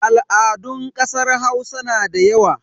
Al'adun ƙasar Hausa na da yawa.